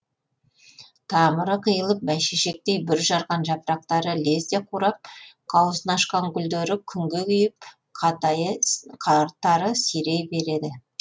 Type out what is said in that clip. тамыры қиылып бәйшешектей бүр жарған жапырақтары лезде қурап қауызын ашқан гүлдері күнге күйіп қатары сирей береді